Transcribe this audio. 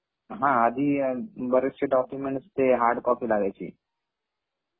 हा आधी बरेचसे डॉकुमेन्ट ते हार्ड कॉपी लागायचे.